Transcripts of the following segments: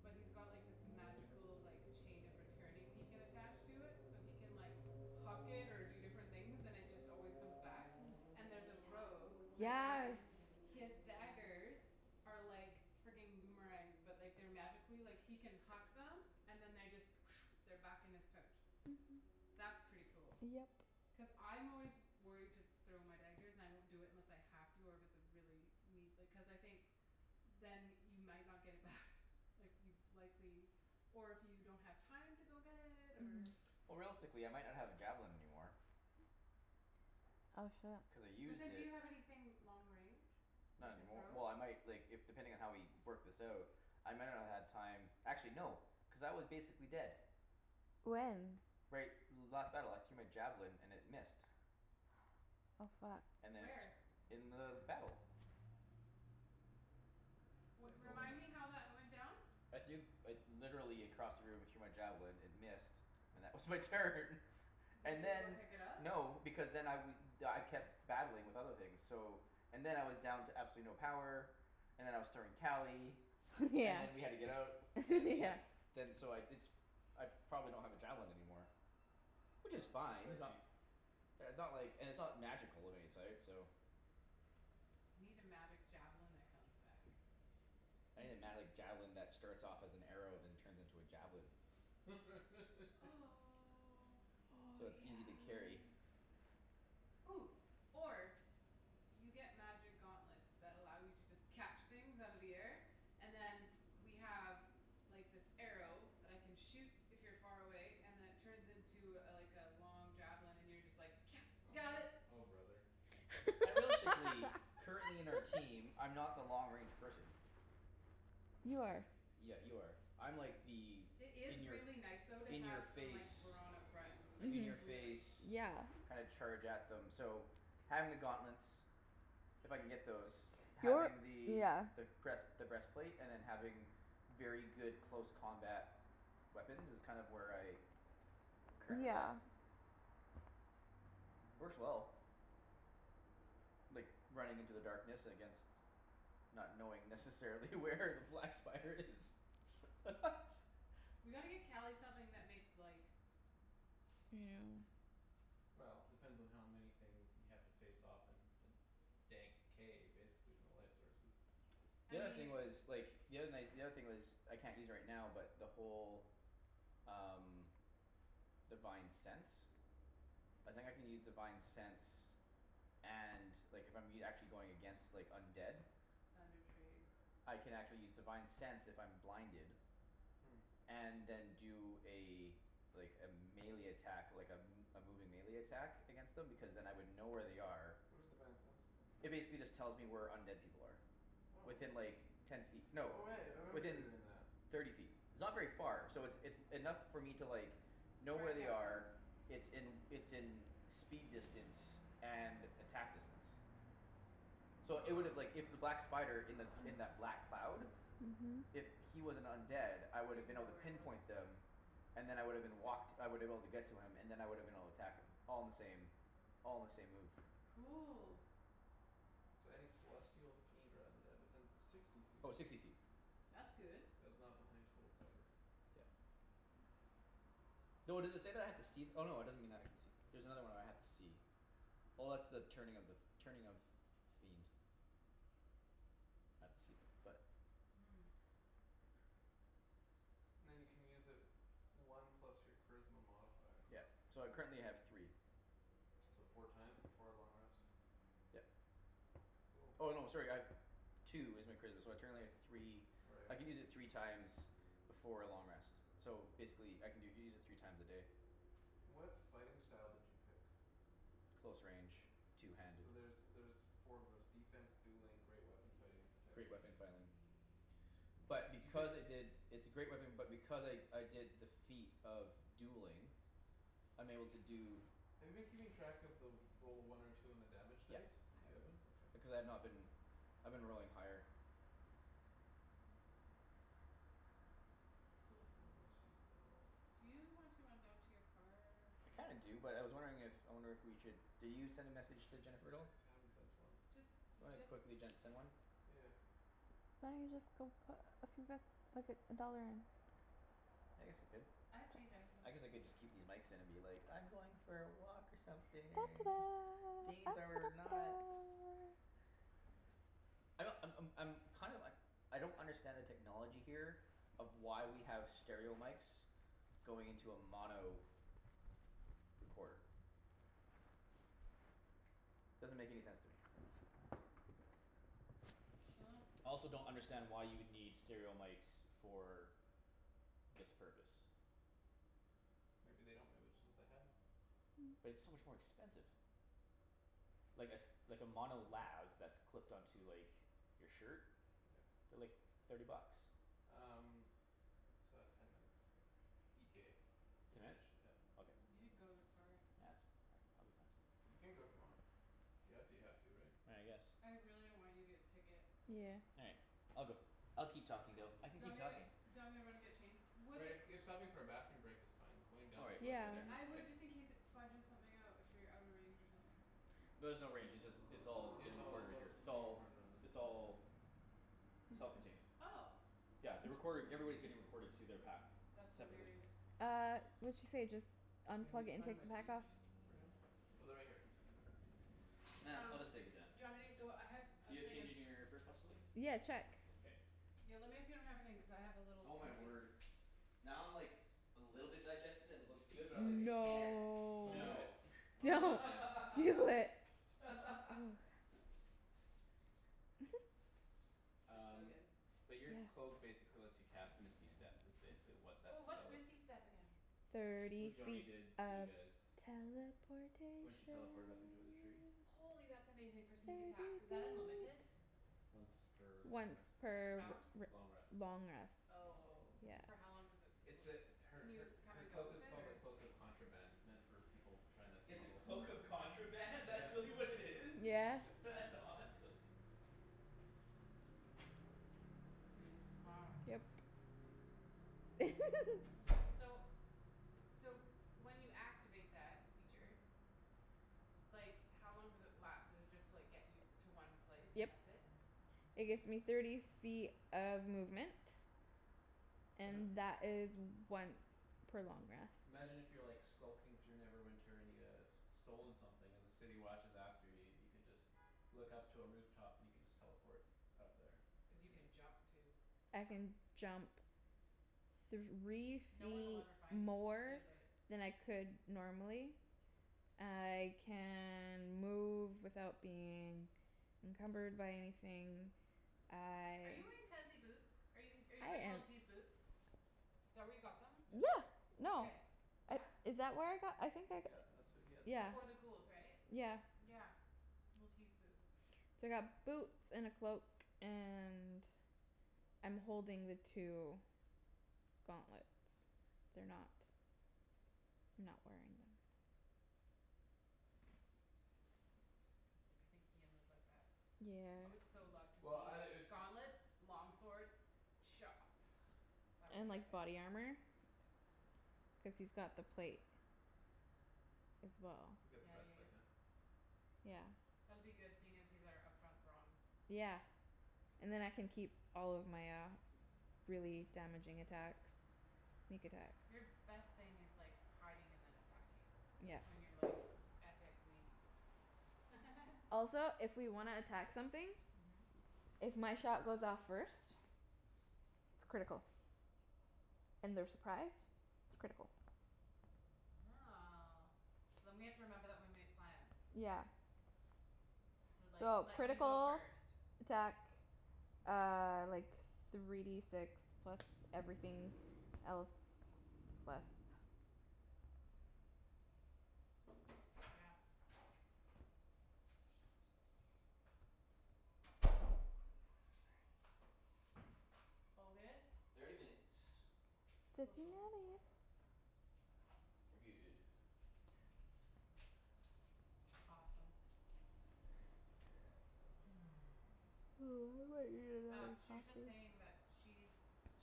But he's got this magical like Chain of returning he can attach to it so he can like Huck it or do different things and it just always comes back And there's a rogue that guy Yes His daggers Are like frigging boomerangs but like they're like magically like he can huck them and then they just They're back in his pouch. That's pretty cool. Yep Cuz I'm always worried to throw my daggers and I won't do it unless I have to or if it's a really need like cuz I think Then you might not get it back Like you'd likely Or if you don't have time to go get it or Or realistically I might not have a javelin anymore. Oh shit. Cuz I But used then do it you have anything long range you Not can anymor- throw? Well I might like if depending on how we work this out. I might not have had time actually no cuz I was basically dead. When? Right last battle I threw my javelin and it missed. Oh fuck And then Where? it in the battle. So Well it's still remind in the me how that went down? I threw like literally across the room I threw my javelin it missed. And that was my turn. Did And you go then pick it up? no because then I we I kept battling with other things so And then I was down to absolutely no power And then I was throwing Cali Yeah And then we had to get out and then we yeah had to Then so I it's I probably don't have a javelin anymore. Which is fine They're it's not cheap. they're not like and it's not magical of any sort so You need a magic javelin that comes back. I need a magic javelin that starts off as an arrow then turns into a javelin. Oh Oh So yes it's easy to carry. Or You get magic gauntlets that allow you to just catch things out of the air And then we have like this arrow that I can shoot if you're far away and it turns into a like a long javelin and you're just like, Oh "got bro- it." oh brother. I realistically currently in our team I'm not the long range person. You That's true. are Yeah you are. I'm like the It is in your f- really nice though to In your have some like face brawn up front. Like In Mhm your really. face yeah kind of charge at them so having the gauntlets If I can get those You're having the yeah the breast the breastplate and then having Very good close combat weapons is kind of where I I'm currently at. Yeah Mhm Works well. Like running into the darkness against Not knowing necessarily where the black spider is We gotta get Cali something that makes light. Well depends on how many things you have to face off in a Dank cave basically with no light sources. I The other thing mean But was like the other night the other thing was I can't use right now but the whole Um divine sense I think I can use divine sense and like I'm e- actually if I'm going against undead. Thunder Tree. I can actually use divine sense if I'm blinded. Hmm And then do a Like a melee attack like a m- a moving melee attack against them because then I would know where they are What does divine sense do? It basically just tells me where undead people are. Oh Within like ten feet no Oh right I remember you were within doing that. thirty feet. It's not very far. So it's it's enough for me to like Know where Strike they at them. are it's in it's in Speed distance and attack distance So it would've like if that black spider in that in the black cloud Mhm If he was an undead I would've You'd been able know to where he was. pinpoint them. And then I would've been walked I woulda been able to get to him and then I would've been able to attack him. All in the same all in the same move. Cool So any celestial fiend or undead within sixty feet Oh of sixty you. feet. That's good. That is not behind total cover. Yeah Though does it say that I have to see no it doesn't mean I can see There's another one where I have to see. Oh that's the turning of the f- turning of Fiend. I had to see them but Hmm Then you can use it One plus your charisma modifier. Yeah so I currently have three. So four times before a long rest. Yep. Cool Oh no sorry I have Two is my charisma so I currently have three Right I can use okay. it three times Before a long rest. So basically I can do it u- use it three times a day. What fighting style did you pick? Close range two handed So there's there's four of those, defense, dueling, great weapon fighting, and Great protection. weapon fighting. But You because I picked did It's a great weapon but because I I did defeat of dueling I'm able to do Have you been keeping track of the roll a one or two on the damage Yes dice? I You have it up. haven't? Okay. Because I've not been. I've been rolling higher Cool Then they must use in a roll. Do you want to run down to your car? I kinda do but I was wondering if I wonder if we should did you send a message to Jennifer at all? I haven't sent one. Just Do you you wanna just quickly send one? Yeah yeah Why don't you just go put a few buck like a dollar in? I guess I could. I have change I can go I guess I could just keep these mics in and be like I'm going for a walk or something. These are not I don't I'm I'm I'm kind of uh I don't understand the technology here Of why we have stereo mics Going into a mono recorder. Doesn't make any sense to me. Dunno I also don't understand why you would need stereo mics for This purpose. Maybe they don't maybe just what they had. But it's so much more expensive. Like a s- like a mono lav that's clipped on to like your shirt Yeah. they're like thirty bucks. Um It's uh ten minutes ETA to Ten minutes? finish yeah. Okay. You should go to the car. Nah that's all right I'll be fine. You can go if you want. If you have to you have to right? I guess I really don't want you to get a ticket. Yeah All right. I'll go. I'll keep talking though. I Do can you want keep me talking. do you want me to run and get change? Would Right it if if stopping for a bathroom break is fine, going All down right to plug Yeah your meter is I K. fine. would just in case it fudges something out if you're out of range or something. No there's no range. It's all Yeah it's getting all recorded it's right all here. just It's being all recorded on this. it's all Self contained. Oh Yeah the recording everybody's getting recorded to their pack. S- That's separately. hilarious Uh what'd she say just Can you unplug it and find take my the pack keys off? for him? Oh they're right here. Nah, Um I'll just take it down. do you want me to go I have a You have thing of change in your purse possibly? Yeah check K Yo lemme if you don't have a thing cuz I have a little Oh my container word. Now I'm like A little bit digested and it looks good but I'm like, "I can't" No Don't do No. it. Don't do it Don't man do it. Oh. They're so Um good but your cloak Yeah basically lets you cast misty step is basically what that Oh what's spell is. misty step again? It's what Thirty Joany feet did to you of guys. teleportation. When she teleported up to the tree Holy that's amazing for sneak attack. Is Thirty that unlimited? feet. Once per long Once rest. per r- Round? r- Long rest. long rest. Oh Yeah for how long does it It's l- a her can her you come her and go cloak is with it called a or? cloak of contraband It's meant for people tryin' to It's a smuggle. cloak of contraband? That's Yeah really what it is? Yeah That's awesome. Wow Yep So So when you activate that feature Like how long does it last? Does it just like get you to one place Yep. and that's it? It It's gets me thirty feet of movement. Um And a that is once per long rest. Imagine if you're skulking through Neverwinter and you have Stolen something and the city watch is after you you could just Look up to a roof top and you could just teleport Up there Cuz or you something. can jump too. I can jump Three No one'll feet ever find you. more Forget about it. than I could normally I can move without being Encumbered by anything Are I you wearing fancy boots? Are you I wearing am Li'l T's boots? Is that where you got them? Yeah Yeah no. Okay. I Yeah? is that where I got them? I think I g- Yeah that's where you got them. Yeah Before the ghouls right? yeah Yeah. Li'l T's boots. So I got boots and a cloak and I'm holding the two gauntlets they're not Not wearing them. I think Ian would like that. I would Yeah so love to Well outta see it's gauntlets long sword Chop. That would And be like epic. body armor Cuz he's got the plate as well You got the Yeah best yeah plate yeah man Yeah That'll be good seeing as he's our up front brawn. Yeah And then I can keep all of my uh really damaging attacks. Sneak attacks Your best thing is like hiding and then attacking. Yeah That's when you're like epicly Also if we wanna attack something. Mhm If my shot goes off first It's critical and they're surprised It's critical Oh so then we have to remember that when we make plans Yeah To like So let you go critical first. attack uh like Three D six plus everything else plus Yeah All good? Thirty minutes. Cool Thirty cool minutes. We're good. Awesome. I might need Um another she was just coffee. saying that she's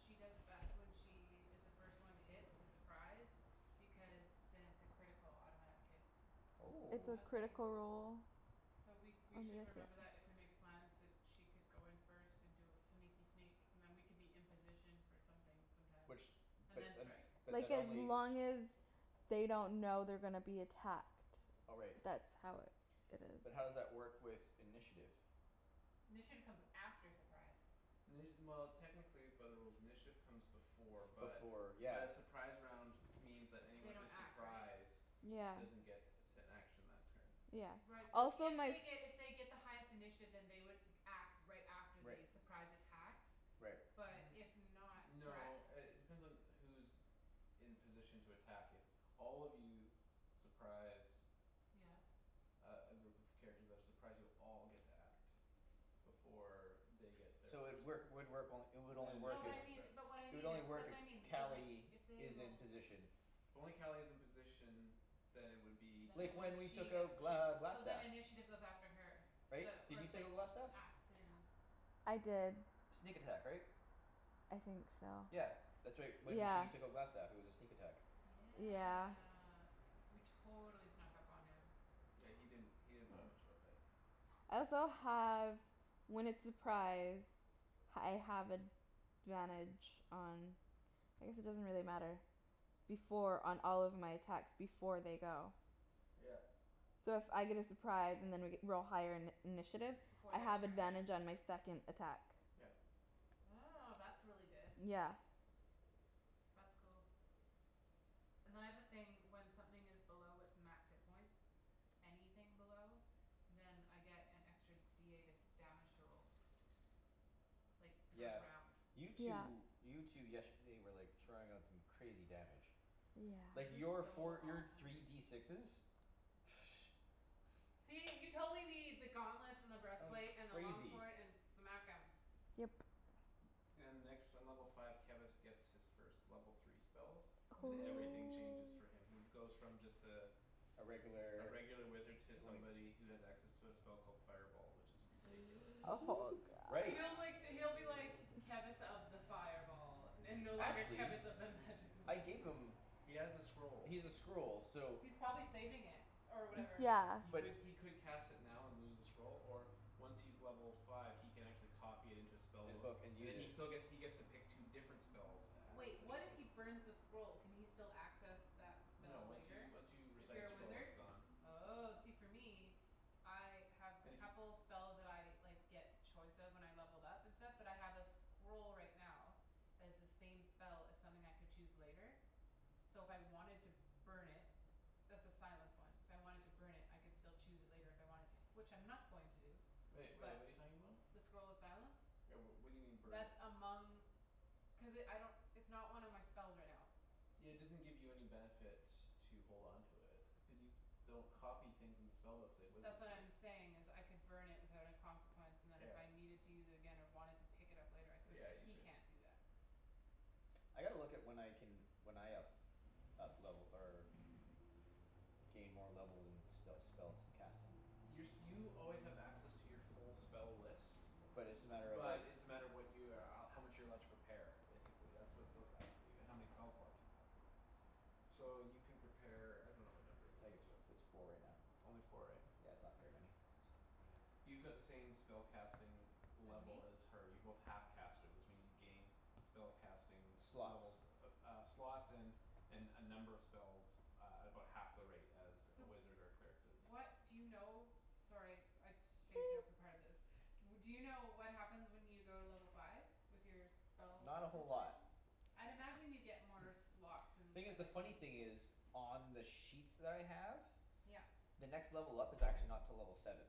She does best when she is the first one to hit it's a surprise. Because then it's a critical automatic hit. It's Oh a I was saying critical roll So we we on should the attack. remember that if we make plans that she could go in first and do a sneaky sneak And then we could be in position for something sometimes. Which And but then un- strike. Like but as only long as they don't know they're gonna be attacked. Oh right. That's how it it is But how does that work with initiative? Initiative comes after surprise. Well technically by the rules initiative Comes before but Before but yeah a Surprise round means that They anyone don't who's act, right? Surprised Yeah doesn't get An action that turn Yeah Right so also if my they f- get if they get the highest initiative then they would act right after Right. the surprise attacks Right. But if not N- no correct? uh it depends on who's In position to attack if All of you surprise Yeah Uh a group of characters that are surprised you'll all get to act Before they get their So it first work would work it would Then only work No initiative but if I wouldn't mean start but what I It would mean is only work that's if what I mean that like Cali if they is in rolled position. If only Cali is in position Then it would be Then Like just only when we she took out gets it she'd Gl- so then Glastaff. initiative goes after her. Right? The Did or you take like out Glastaff? acts in I did Sneak attack right? I think so Yeah that's right. When Yeah she took out Glastaff it was a sneak attack. Yeah Yeah we totally snuck up on him. Yeah he didn't he didn't put up that much of a fight. I also have when it's surprise I have advantage on I guess it doesn't really matter Before on all of my attacks before they go. Yeah So if I get a surprise and I g- we're all higher in- initiative Before I their have turn? advantage on my second attack. Yeah Oh that's really good. Yeah That's cool And then I have a thing when something is below its max hit points Anything below Then I get an extra D eight of damage to roll. Like per Yeah round. you Yeah two you two yesterday were like throwing out some crazy damage. Like It was your Yes so four your awesome. three D sixes See you totally need the gauntlets and the That was breastplate and the long crazy. sword and smack 'em. Yep And next in level five Kevus gets his first level three spells And everything changes Oh for him. He goes from just uh A A regular regular wizard To like somebody who has access to a spell called Fireball which is ridiculous. Oh god Right He'll like d- he'll be like Kevus of the fireball And no longer Actually Kevus of the magic missile. I gave them He has the scroll. He's a scroll so He's probably saving it or whatever. He Yeah But could he could cast it now and lose the scroll Or once he's level five he can Actually copy it into his spell In book book and And then use he it. still gets he gets to pick two different spells to add Wait what if he burns the scroll? Can he still access that No spell once you later? once you If recite a you're a scroll it's wizard? gone. Oh see for me I have a And if you couple spells that I like get choice of when I levelled up and stuff but I have a scroll right now Has the same spell as something I could choose later So if I wanted to burn it That's the silence one. If I wanted to burn it I could still choose it later if I wanted to which I'm not going to do. Wait wait But what're you talking about? the scroll of silence Right well what do you mean burn it? That among Cuz it I don't it's not one of my spells right now. Yeah it doesn't give you any benefit to hold on to it Cuz you don't copy things into spellbooks Like wizards That's what do I'm saying is I could burn it without a consequence And then if I Yeah needed to use it again or wanted to pick it up later I could. Yeah you He could. can't do that I gotta look at when I can when I up up level or gain more levels and sp- spells and cast 'em Your you always have access to your full spell list But it's just a matter of like But it's a matter of what you uh how much you're allowed To prepare, basically that's what goes up for you and how many spell slots you have. So you can prepare I dunno what number it I is think it's but it's four right now Only four right? Yeah it's not very many. Yeah. You got the same spellcasting As Level me? as her. You're both half casters which means you gain Spell casting Slots levels uh slots and And uh number of spells uh At about half the rate as a So wizard or Cleric What does do you know? Sorry I spaced out for part of this. W- do you know what happens when you go to level five? With your spell Not a whole lot. situation? I'd imagine you get more slots and Thing i- stuff the like funny me. thing is On the sheets that I have Yep. The next level up is actually not till level seven.